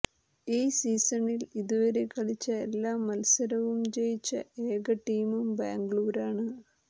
ഈ സീസണിൽ ഇതുവരെ കളിച്ച എല്ലാ മത്സരവും ജയിച്ച ഏക ടീമും ബാംഗ്ലൂരാണ്